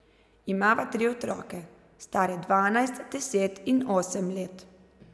Imava tri otroke, stare dvanajst, deset in osem let.